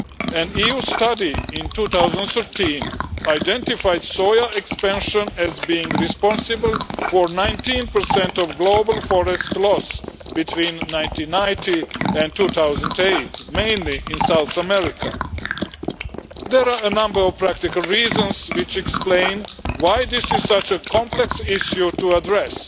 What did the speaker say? An EU study in 2013 identified soya expansion as being responsible for 19 of global forest loss between 1990 and 2008, mainly in South America. There are a number of practical reasons which explain why this is such a complex issue to address.